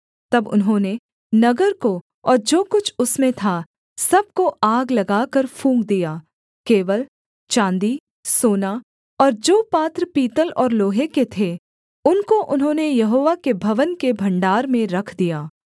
तब उन्होंने नगर को और जो कुछ उसमें था सब को आग लगाकर फूँक दिया केवल चाँदी सोना और जो पात्र पीतल और लोहे के थे उनको उन्होंने यहोवा के भवन के भण्डार में रख दिया